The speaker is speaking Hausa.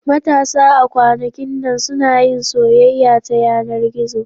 Matasa a kwanakin nan suna yin soyayya ta yanar gizo.